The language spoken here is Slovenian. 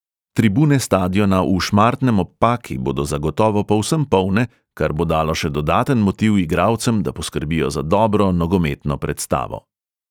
Tribune stadiona v šmartnem ob paki bodo zagotovo povsem polne, kar bo dalo še dodaten motiv igralcem, da poskrbijo za dobro nogometno predstavo.